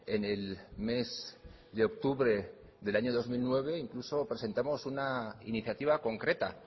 en el mes de octubre del año dos mil nueve incluso presentamos una iniciativa concreta